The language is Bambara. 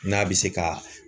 N'a bi se ka